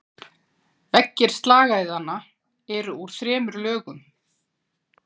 Veggir slagæðanna eru úr þremur lögum.